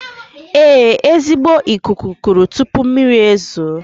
Ee, ezigbo ikuku kuru tuupu mmiri ezuoo